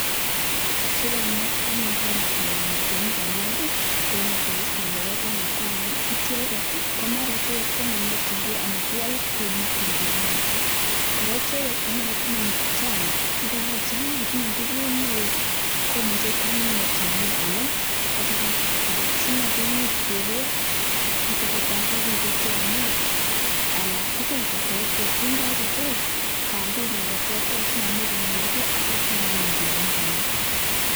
Si konget anyun koam tiongik tiongik alak en ecosystem nebo Kenya ko amun icheget ko maran ko manyorchingei amitwogik Che makyingei en borto kora icheget ko mara Chang ago tinye nguvut neo komuche koam inei tiongik alak Che koseret alak si maimuch kebos kiito tesetai ko kinde tiongik alak tugul ko terter kindo age tugul kambinywan ko terter si maimuch konyor ge ak yeityo kwam anyun tiongik alak